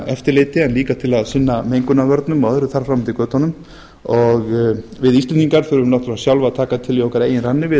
eftirliti en líka til að sinna mengunarvörnum og öðru þar fram eftir götunum við íslendingar þurfum náttúrulega sjálf að taka til í okkar eigin ranni við